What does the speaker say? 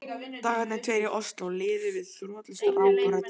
Dagarnir tveir í Osló liðu við þrotlaust ráp og reddingar.